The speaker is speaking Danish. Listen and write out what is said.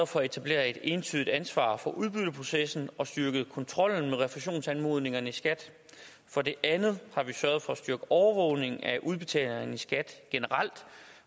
for at etablere et entydigt ansvar for udbytteprocessen og styrket kontrollen med refusionsanmodningerne i skat for det andet har vi sørget for at styrke overvågningen af udbetalingerne i skat generelt